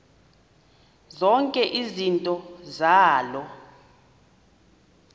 zonke izinto zaloo